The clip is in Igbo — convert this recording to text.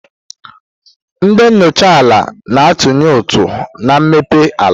Ndị enyocha ala na-atụnye ụtụ na mmepe ala.